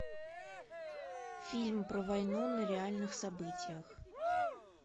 фильм про войну на реальных событиях